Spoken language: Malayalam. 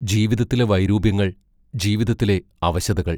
ജീവിതത്തിലെ വൈരൂപ്യങ്ങൾ ജീവിതത്തിലെ അവശതകൾ!